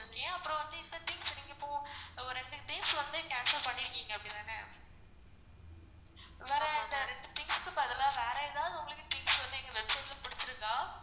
அப்பறம் வந்து இந்த things நீங்க இப்போ ஒரு ரெண்டு ரெண்டு days வந்து cancel பண்ணிருக்கீங்க அப்படித்தான? வேற இந்த ரெண்டு things க்கு பதிலா வேற எதாவது things வந்து எங்க website ல புடிச்சிருக்கா?